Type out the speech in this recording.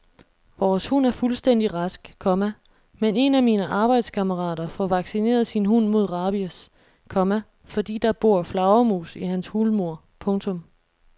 Vores hund er fuldstændig rask, komma men en af mine arbejdskammerater får vaccineret sin hund mod rabies, komma fordi der bor flagermus i hans hulmur. punktum